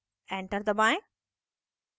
enter दबाएं